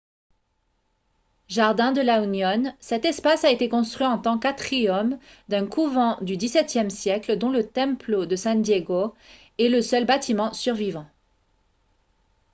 jardín de la unión. cet espace a été construit en tant qu'atrium d'un couvent du xviie siècle dont le templo de san diego est le seul bâtiment survivant